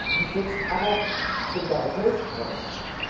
Dies setzt aber Solidarität voraus.